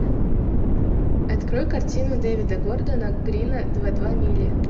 открой картину девида гордона грина два два мили